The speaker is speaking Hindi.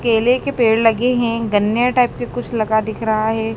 केले के पेड़ लगे हैं गन्ने टाइप का कुछ लगा दिख रहा है।